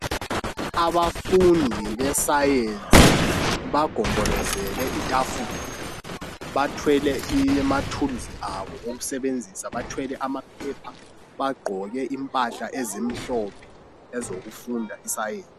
Abafundi be science bagombolozele itafula bathwele amathuluzi abo okusebenzisa bagqoke impahla ezimhlophe ezokufunda i science.